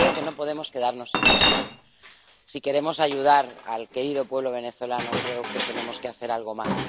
Pero creo que no podemos quedarnos en eso. Si queremos ayudar al querido pueblo venezolano, creo que tenemos que hacer algo más.